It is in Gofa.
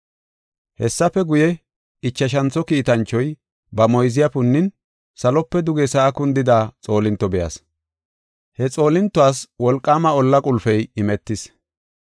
Hessafe guye, ichashantho kiitanchoy ba moyziya punnin salope duge sa7a kundida xoolinto be7as. He xoolintuwas wolqaama ollaa qulpey imetis.